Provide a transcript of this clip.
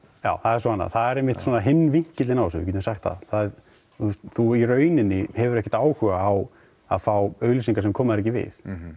já það er svo annað það er svo hinn vinkilinn á þessu það er þú í rauninni hefur ekkert áhuga á að fá auglýsingar sem koma þér ekki við